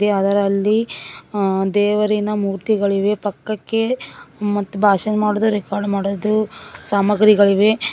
ಮತ್ತೆ ಅದರಲ್ಲಿ ಅ ದೇವರಿನ ಮೂರ್ತಿಗಳಿವೆ ಪಕ್ಕಕ್ಕೆ ಮತ್ ಭಾಷಣ ಮಾಡಿದ್ ರೆಕಾರ್ಡ್ ಮಾಡೋದು ಸಾಮಗ್ರಿಗಳಿವೆ.